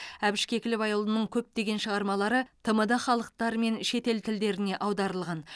әбіш кекілбайұлының көптеген шығармалары тмд халықтары мен шетел тілдеріне аударылған